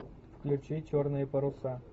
включи черные паруса